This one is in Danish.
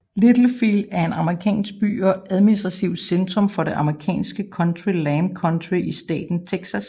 Littlefield er en amerikansk by og administrativt centrum for det amerikanske county Lamb County i staten Texas